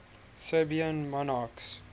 serbian monarchs